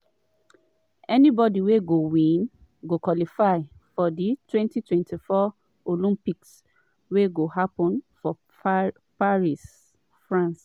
anybody wey win go qualify for di 2024 olympics wey go happun for paris france.